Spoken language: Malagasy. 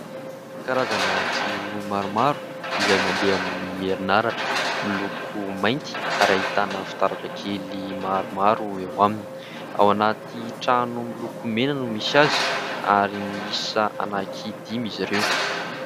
Karazana jiro maromaro izay mandeha amin'ny herin'aratra. Miloko mainty ary ahitana fitaratra kely maromaro eo aminy. Ao anaty trano miloko mena no misy azy ary miisa anaky dimy izy ireo.